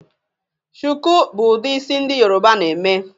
shuku bu udi isi ndi yoruba na eme